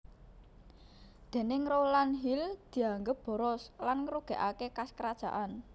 Déning Rowland Hill dianggep boros lan ngrugikake kas kerajaan